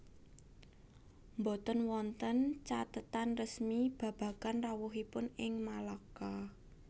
Boten wonten cathetan resmi babagan rawuhipun ing Malaka